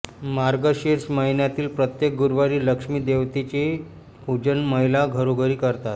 मार्गशीर्ष महिन्यातील प्रत्येक गुरुवारी लक्ष्मी देवतेचे पूजन महिला घरोघरी करतात